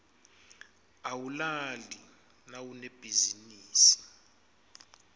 awulali nawunebhizinisi